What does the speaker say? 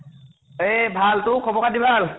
এ ভাল । তোৰ খবৰ খাতি ভাল?